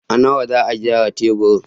A nawa za a gyara taburin?